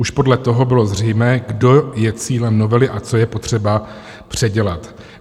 Už podle toho bylo zřejmé, kdo je cílem novely a co je potřeba předělat.